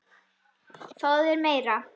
Fáðu þér meira!